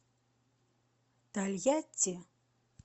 тольятти